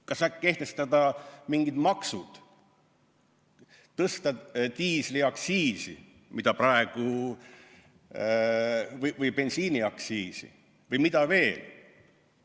Kas äkki kehtestada mingid maksud, tõsta diisliaktsiisi või bensiiniaktsiisi või mida veel?